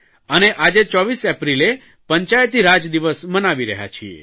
અને આજે 24 એપ્રિલે પંચાયતીરાજ દિવસ મનાવી રહ્યા છીએ